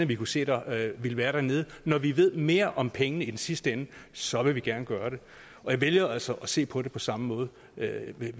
vi kunne se der ville være dernede og når vi ved mere om pengene i den sidste ende så vil vi gerne gøre det jeg vælger altså at se på det på samme måde